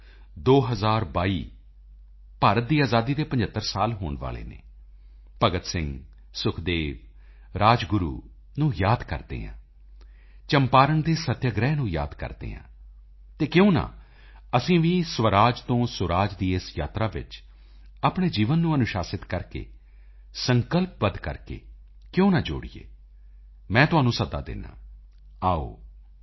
ਆਓ 2022 ਭਾਰਤ ਦੀ ਆਜ਼ਾਦੀ ਦੇ 75 ਸਾਲ ਹੋਣ ਵਾਲੇ ਹਨ ਭਗਤ ਸਿੰਘ ਸੁਖਦੇਵ ਰਾਜਗੁਰੂ ਨੂੰ ਯਾਦ ਕਰਦੇ ਹਾਂ ਚੰਪਾਰਣ ਦੇ ਸੱਤਿਆਗ੍ਰਹਿ ਨੂੰ ਯਾਦ ਕਰਦੇ ਹਾਂ ਤਾਂ ਕਿਉਂ ਨਾ ਅਸੀਂ ਵੀ ਸਵਰਾਜ ਤੋਂ ਸੁਰਾਜ ਦੀ ਇਸ ਯਾਤਰਾ ਵਿੱਚ ਆਪਣੇ ਜੀਵਨ ਨੂੰ ਅਨੁਸ਼ਾਸ਼ਿਤ ਕਰਕੇ ਸੰਕਲਪਬੱਧ ਕਰਕੇ ਕਿਉਂ ਨਾ ਜੋੜੀਏ ਮੈਂ ਤੁਹਾਨੂੰ ਸੱਦਾ ਦਿੰਦਾ ਹਾਂ ਆਓ